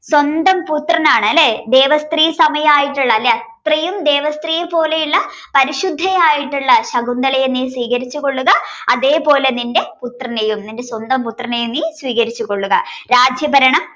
സ്വന്തം പുത്രനാണ് അല്ലെ ദേവസ്ത്രീ സമയായിട്ടുള്ള സ്ത്രീയും ദേവസ്ത്രീയും പോലെയുള്ള പരിശുദ്ധയായ ശകുന്തളയെ നീ സ്വീകരിച്ചു കൊള്ളുകഅതെ പോലെ നിന്റെ പുത്രനെയും നിന്റെ സ്വന്തം പുത്രനെയും നീ സ്വീകരിച്ചു കൊള്ളുക രാജ്യഭരണം